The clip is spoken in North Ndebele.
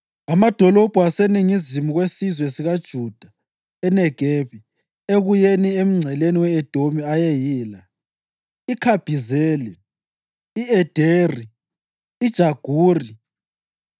Amadolobho aseningizimu kwesizwe sikaJuda eNegebi ekuyeni emngceleni we-Edomi ayeyila: IKhabhizeli, i-Ederi, iJaguri,